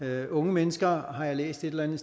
er unge mennesker har jeg læst et eller andet